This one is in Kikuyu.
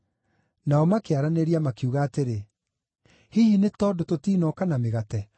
Nao makĩaranĩria, makiuga atĩrĩ, “Hihi nĩ tondũ tũtinoka na mĩgate.”